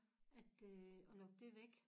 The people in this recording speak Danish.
At øh at lukke det væk